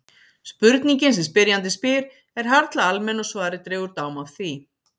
Spurningin sem spyrjandi spyr er harla almenn og svarið dregur dám af því.